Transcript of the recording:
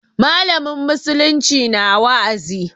Mallamin musulunci na wa'azi.